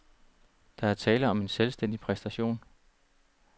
Der er tale om en selvstændig præstation.